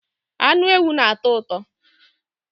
Anụ ewu na-atọ ụtọ